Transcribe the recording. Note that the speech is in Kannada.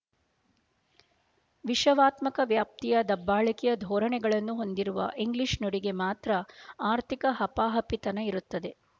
ವಿಶವಾತ್ಮಕ ವ್ಯಾಪ್ತಿಯ ದಬ್ಬಾಳಿಕೆಯ ಧೋರಣೆಗಳನ್ನು ಹೊಂದಿರುವ ಇಂಗ್ಲೀಷ್ ನುಡಿಗೆ ಮಾತ್ರ ಆರ್ಥಿಕ ಹಪಾಹಪಿತನ ಇರುತ್ತದೆ